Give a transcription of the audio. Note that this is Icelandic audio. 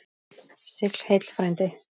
Sigl heill frændi.